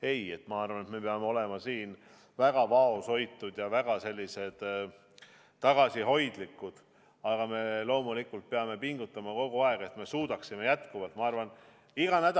Ei, ma arvan, et me peame olema väga vaoshoitud ja väga tagasihoidlikud, aga me loomulikult peame pingutama kogu aeg, et me suudaksime jätkuvalt.